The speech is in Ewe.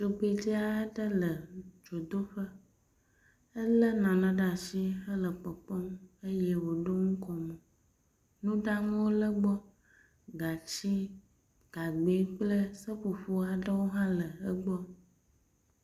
tugbedzɛaɖe le dzodoƒe éle nane ɖe asi hele kpɔkpɔm eye woɖó ŋkomò nuɖanuwo le gbɔ gatsi gagbɛ kple seƒoƒoaɖewo hã le egbɔ